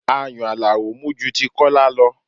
Ayùn Alao mú ju ti Kola lọ